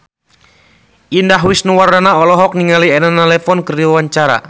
Indah Wisnuwardana olohok ningali Elena Levon keur diwawancara